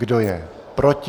Kdo je proti?